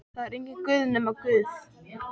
Það er enginn Guð nema Guð.